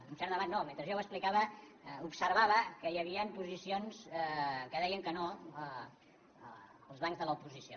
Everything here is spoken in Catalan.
un cert debat no mentre jo ho explicava observava que hi havia posicions que deien que no als bancs que l’oposició